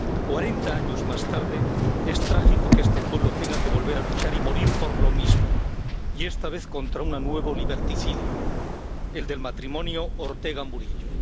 Cuarenta años más tarde es trágico que este pueblo tenga que volver a luchar y morir por lo mismo, y esta vez contra un nuevo liberticidio, el del matrimonio Ortega Murillo.